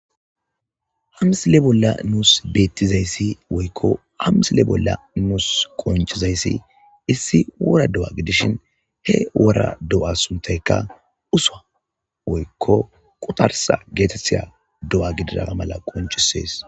Ha misile bolla nuus beettizayssi woykko ha misile bolla nuus qonccizayssi issi wora do'a gidishin he wora do'a suntayka uswa woykko qutarsa geetetiya do'a gidiraa mala qonccisees.